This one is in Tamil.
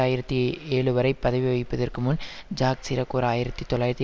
ஆயிரத்தி ஏழு வரை பதவி வகிப்பதற்கு முன் ஜாக் சிராக் ஓர் ஆயிரத்தி தொள்ளாயிரத்தி